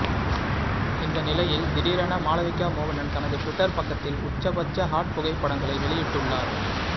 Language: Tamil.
இந்த நிலையில் திடீரென மாளவிகா மோகனன் தனது டுவிட்டர் பக்கத்தில் உச்சபட்ச ஹாட் புகைப்படங்களை வெளியிட்டுள்ளார்